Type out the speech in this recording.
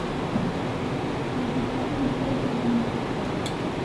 найди фильмы федора бондарчука